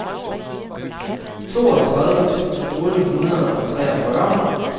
toogtredive tusind otte hundrede og treogfyrre